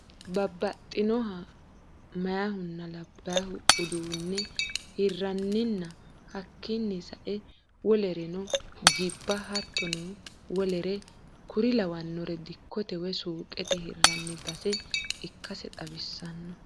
Babaxinoha mayaahunna labaahu uduu'ne hiranninna hakini sae wolerenno jiba hattono wole kuri lawanore dikote woyi suuqete hiranni base ikkase xawisano